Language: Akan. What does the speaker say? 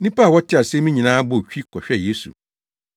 Nnipa a wɔtee asɛm yi nyinaa bɔɔ twi kɔhwɛɛ Yesu.